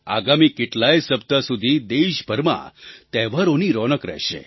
આગામી કેટલાંય સપ્તાહ સુધી દેશભરમાં તહેવારોની રોનક રહેશે